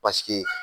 Paseke